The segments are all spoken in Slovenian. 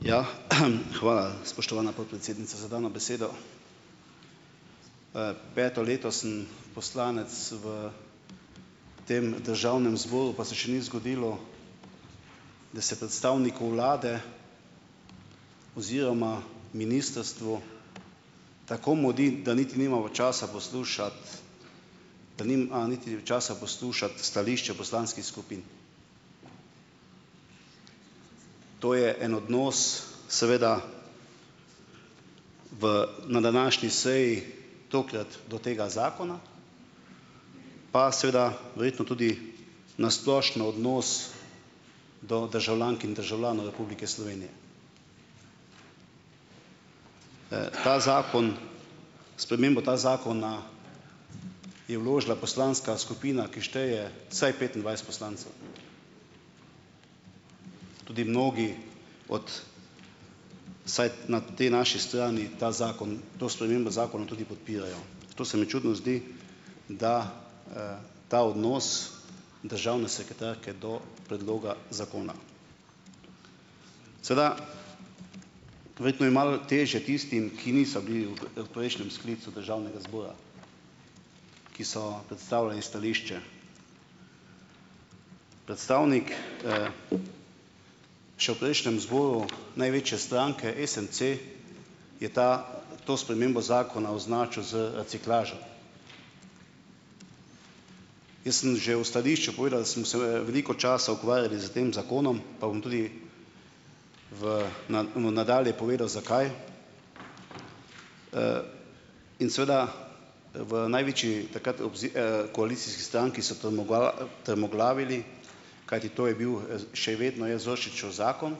Ja, hvala, spoštovana podpredsednica za dano besedo. Peto leto sem poslanec v tem državnem zboru pa se še ni zgodilo, da se predstavniku vlade oziroma ministrstvu tako mudi, da niti nimamo časa poslušati, da nimajo niti časa poslušati stališče poslanskih skupin. To je en odnos, seveda. V, na današnji seji tokrat do tega zakona, pa seveda verjetno tudi na splošno odnos do državljank in državljanov Republike Slovenije. Ta zakon, sprememba ta zakona je vložila poslanska skupina, ki šteje vsaj petindvajset poslancev. Tudi mnogi od - vsaj na tej naši strani, ta zakon, to spremembo zakona tudi podpirajo. To se mi čudno zdi, da, ta odnos državne sekretarke do predloga zakona. Seveda, verjetno je malo težje tistim, ki niso bili v, prejšnjem sklicu državnega zbora, ki so predstavljali stališče. Predstavnik, še v prejšnjem zboru, največje stranke SMC, je ta, to spremembo zakona označil z reciklažo. Jaz sem že v stališču povedal, da sem se, veliko časa ukvarjal s tem zakonom pa bom tudi v nadalje povedal, zakaj, in seveda, v največji, takrat, koalicijski stranki so trmoglavili, kajti to je bil, še vedno je Zorčičev zakon,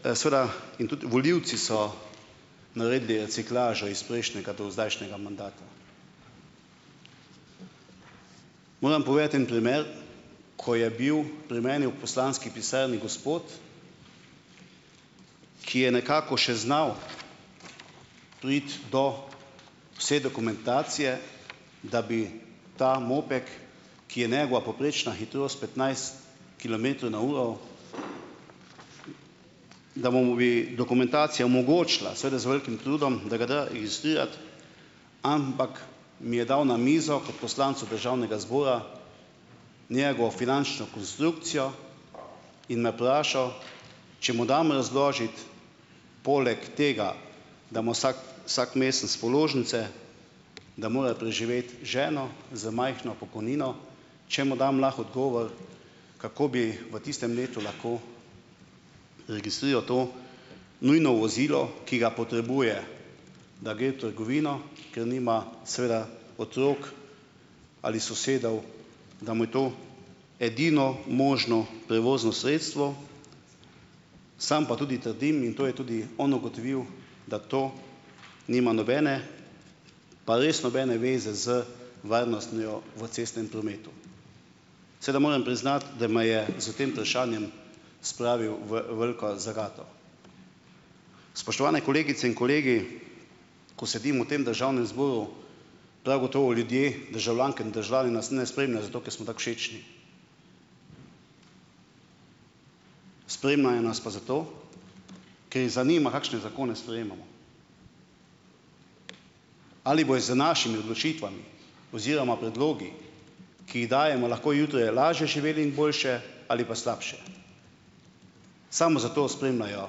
seveda. In tudi volivci so naredili reciklažo iz prejšnjega do zdajšnjega mandata. Moram povedati en primer, ko je bil pri meni v poslanski pisarni gospod, ki je nekako še znal priti do vse dokumentacije, da bi ta moped, ki je njegova povprečna hitrost petnajst kilometrov na uro, da mu bi dokumentacija omogočila, seveda z velikim trudom, da ga da registrirati, ampak mi je dal na mizo kot poslancu državnega zbora, njegovo finančno konstrukcijo in me prašal, če mu dam razložiti poleg tega, da ima vsak vsak mesec položnice, da mora preživeti ženo z majhno pokojnino, če mu dam lahko odgovor, kako bi v tistem letu lahko registriral to nujno vozilo, ki ga potrebuje, da gre v trgovino, ker nima seveda otrok ali sosedov, da mu je to edino možno prevozno sredstvo, sam pa tudi trdim, in to je tudi on ugotovil, da to nima nobene, pa res nobene zveze z varnostjo v cestnem prometu. Seveda moram priznati, da me je s tem vprašanjem spravil v veliko zagato. Spoštovane kolegice in kolegi, ko sedim v tem državnem zboru, prav gotovo ljudje - državljanke in državljani - nas ne spremljajo, zato ker smo tako všečni, spremljajo nas pa zato, ker jih zanima, kakšne zakone sprejemamo. Ali bojo z našimi odločitvami oziroma predlogi, ki jih dajemo, lahko jutri lažje živeli in boljše ali pa slabše - samo zato spremljajo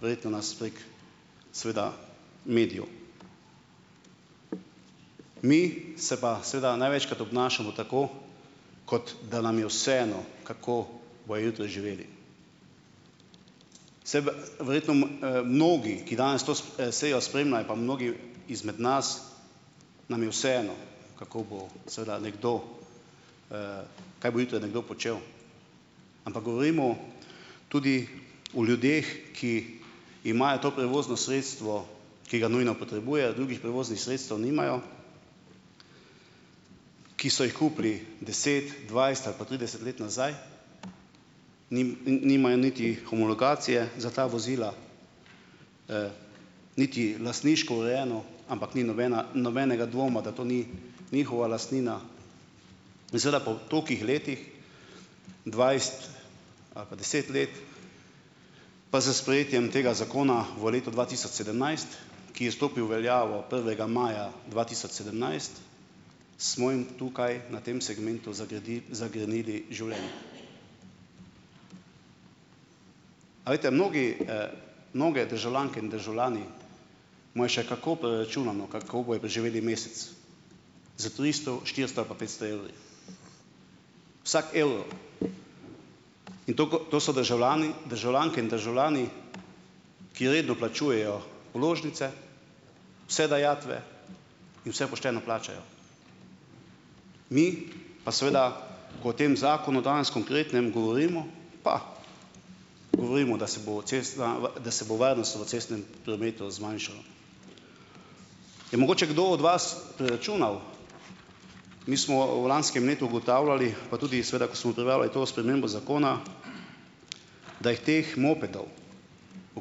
verjetno nas prek seveda medijev. Mi se pa seveda največkrat obnašamo tako, kot da nam je vseeno, kako bojo jutri živeli. Saj verjetno, mnogi, ki danes to sejo spremljajo, pa mnogi izmed nas nam je vseeno kako bo seveda nekdo ... Kaj bo jutri nekdo počel, ampak govorimo tudi o ljudeh, ki imajo to prevozno sredstvo, ki ga nujno potrebujejo, drugih prevoznih sredstev nimajo, ki so jih kupili deset, dvajset ali pa trideset let nazaj, nimajo niti homologacije za ta vozila, niti lastniško urejeno, ampak ni nobena nobenega dvoma, da to ni njihova lastnina. In seveda po tolikih letih dvajset ali pa deset let, pa s sprejetjem tega zakona v letu dva tisoč sedemnajst, ki je stopil v veljavo prvega maja dva tisoč sedemnajst, smo jim tukaj na tem segmentu zagrenili življenje. A veste, mnogi, mnoge državljanke in državljani imajo še kako preračunano, kako bojo preživeli mesec, s tristo, štiristo ali pa petsto evri. Vsak evro in to, ko to so državljani, državljanke in državljani, ki redno plačujejo položnice, vse dajatve in vse pošteno plačajo, mi pa seveda, ko v tem zakonu danes konkretno govorimo pa govorimo, da se bo varnost v cestnem prometu zmanjšala. Je mogoče kdo od vas preračunal - mi smo v lanskem letu ugotavljali, pa tudi seveda, ko smo obravnavali to spremembo zakona, da jih teh mopedov, o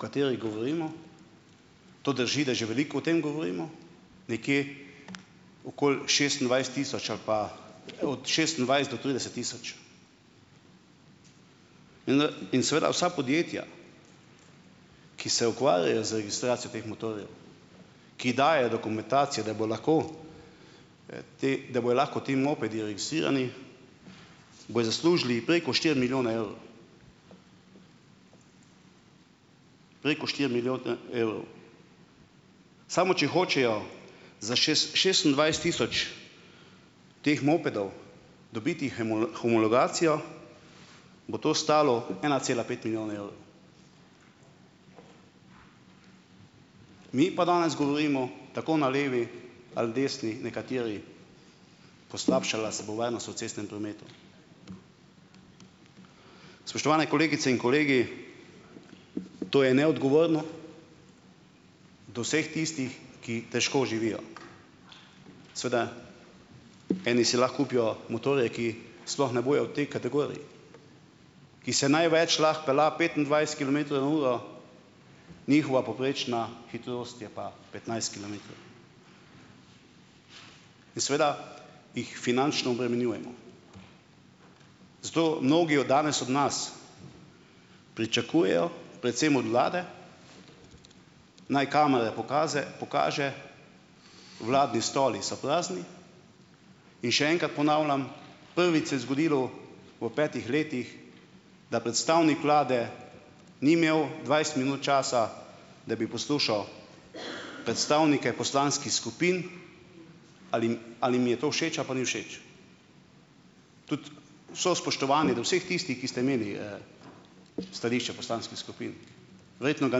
katerih govorimo, to drži, da že veliko o tem govorimo, nekje okoli šestindvajset tisoč ali pa od šestindvajset do trideset tisoč. In, in seveda vsa podjetja, ki se ukvarjajo z registracijo teh motorjev, ki dajejo dokumentacijo, da bojo lahko ti, da bojo lahko ti mopedi registrirani, bojo zaslužili preko štiri milijone evrov, preko štiri evrov. Samo, če hočejo za šest šestindvajset tisoč teh mopedov dobiti homologacijo, bo to stalo ena cela pet milijona evrov. Mi pa danes govorimo, tako na levi ali desni nekateri, poslabšala se bo varnost v cestnem prometu. Spoštovane kolegice in kolegi, to je neodgovorno do vseh tistih, ki težko živijo. Seveda eni si lahko kupijo motorje, ki sploh ne bojo v tej kategoriji, ki se največ lahko pelje petindvajset kilometrov na uro, njihova povprečna hitrost je pa petnajst kilometrov in seveda jih finančno obremenjujemo. Zato mnogi od danes od nas pričakujejo, predvsem od vlade - naj kamera pokaze pokaže, vladni stoli so prazni, in še enkrat ponavljam, prvič se je zgodilo v petih letih, da predstavnik vlade ni imel dvajset minut časa, da bi poslušal predstavnike poslanskih skupin, ali jim, ali jim je to všeč ali pa ni všeč. Tudi vse spoštovanje do vseh tistih, ki ste imeli, stališča poslanskih skupin, verjetno ga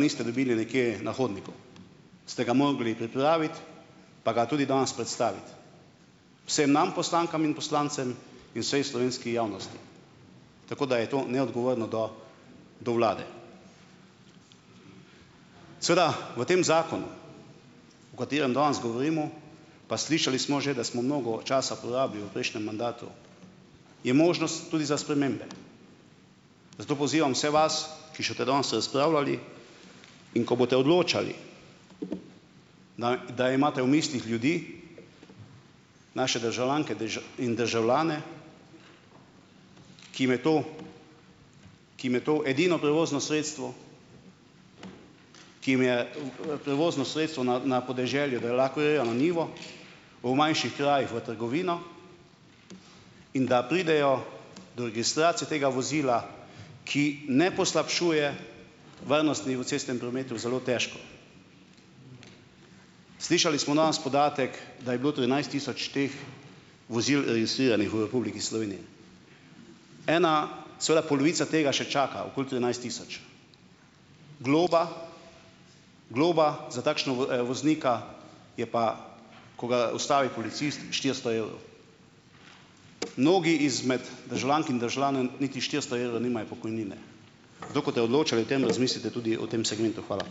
niste dobili nekje na hodniku, ste ga mogli pripraviti pa ga tudi danes predstaviti vsem nam, poslankam in poslancem, in vsej slovenski javnosti. Tako da je to neodgovorno do do vlade. Seveda v tem zakonu, o katerem danes govorimo - pa slišali smo že, da smo mnogo časa porabili v prejšnjem mandatu - je možnost tudi za spremembe. Zato pozivam vse vas, ki še boste danes razpravljali, in ko boste odločali, naj da imate v mislih ljudi, naše državljanke, in državljane, ki jim je to, ki jim je to edino prevozno sredstvo, ki jim je, prevozno sredstvo na na podeželju, da lahko grejo na njivo, v manjših krajih v trgovino, in da pridejo do registracije tega vozila, ki ne poslabšuje varnostni v cestnem prometu, zelo težko. Slišali smo danes podatek, da je bilo trinajst tisoč teh vozil registriranih v Republiki Sloveniji. Ena seveda polovica tega še čaka, okoli trinajst tisoč. Globa, globa za takšno voznika je pa, ko ga ustavi policist, štiristo evrov. Mnogi izmed državljank in državljanov niti štiristo evrov nimajo pokojnine, zato, ko boste odločali o tem, razmislite tudi o tem segmentu. Hvala.